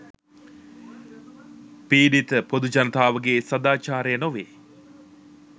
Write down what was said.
පීඩිත පොදු ජනතාවගේ සාදාචාරය නොවේ